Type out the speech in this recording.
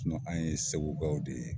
an ye Segu kaw de ye.